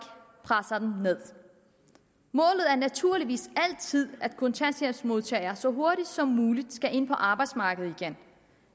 presser dem nederst målet er naturligvis altid at kontanthjælpsmodtagere så hurtigt som muligt skal ind på arbejdsmarkedet igen